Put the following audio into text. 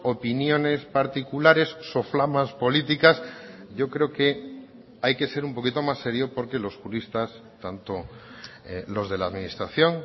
opiniones particulares soflamas políticas yo creo que hay que ser un poquito más serio porque los juristas tanto los de la administración